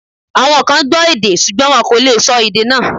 Àwọn kan gbọ́ èdè ṣùgbọ́n wọn kò lè sọ èdè náà